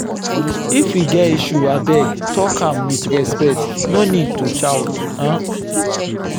if we get issue abeg talk am with respect no need to shout. um